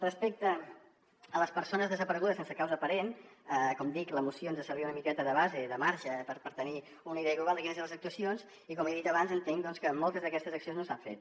respecte a les persones desaparegudes sense causa aparent com dic la moció ens servia una miqueta de base i de marge per tenir una idea global de quines eren les actuacions i com he dit abans entenc que moltes d’aquestes accions no s’han fet